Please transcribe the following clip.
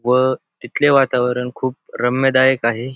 व इथले वातावरण खूप रम्यदायक आहे.